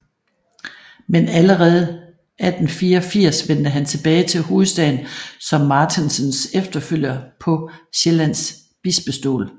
Men allerede 1884 vendte han tilbage til hovedstaden som Martensens efterfølger på Sjællands bispestol